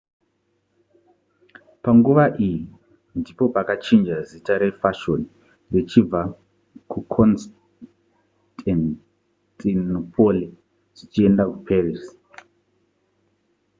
panguva iyi ndipo pakachinja zita rezvefashoni zvichibva kuconstantinople zvichienda kuparis